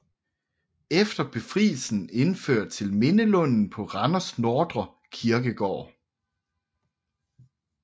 Efter befrielsen overført til Mindelunden på Randers Nordre Kirkegård